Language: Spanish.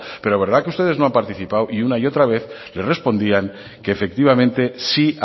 pero de verdad que usted no ha participado y una y otra vez le respondían que efectivamente sí